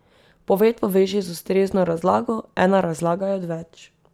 Poved poveži z ustrezno razlago, ena razlaga je odveč.